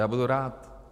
Já budu rád.